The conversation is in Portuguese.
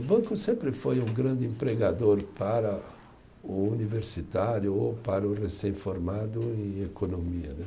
O banco sempre foi um grande empregador para o universitário ou para o recém-formado em economia né